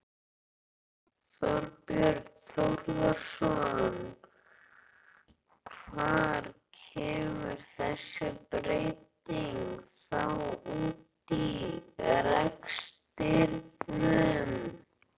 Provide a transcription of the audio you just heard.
Þorbjörn Þórðarson: Hvar kemur þessi breyting þá út í rekstrinum?